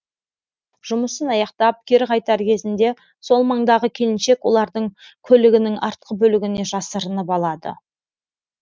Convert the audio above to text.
жұмысын аяқтап кері қайтар кезінде сол маңдағы келіншек олардың көлігінің артқы бөлігіне жасырынып алады